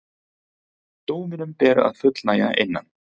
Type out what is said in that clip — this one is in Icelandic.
Dóminum ber að fullnægja innan